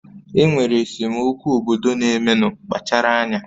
Enwere esemokwu obodo na-emenu, kpachara anya